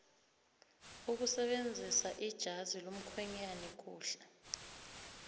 ukusebenzisaijazi lomukhwenyana kuhle